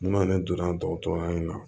Munna ne donna dɔgɔtɔrɔya in na